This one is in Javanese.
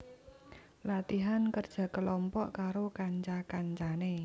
Latihan kerja kelompok karo kanca kancane